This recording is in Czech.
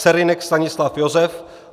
Serynek Stanislav Josef